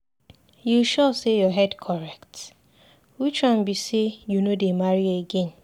You sure say your head correct? Which one be say you no dey marry again?